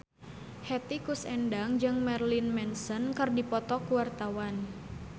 Hetty Koes Endang jeung Marilyn Manson keur dipoto ku wartawan